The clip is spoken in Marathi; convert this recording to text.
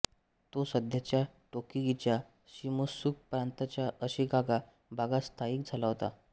तो सध्याच्या टोकिगीच्या शिमोत्सुक प्रांताच्या अशिकागा भागात स्थायिक झाला होता